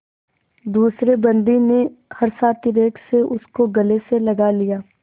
दूसरे बंदी ने हर्षातिरेक से उसको गले से लगा लिया